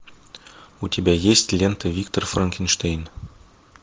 у тебя есть лента виктор франкенштейн